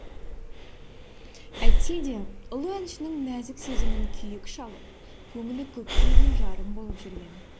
әйтсе де ұлы әншінің нәзік сезімін күйік шалып көңілі көпке дейін жарым болып жүрген